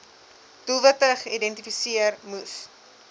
doelwitte geïdentifiseer moes